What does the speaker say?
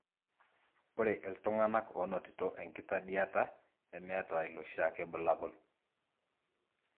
ore iltungana onotito enkidatiata nemeeta iloshiake bulabul .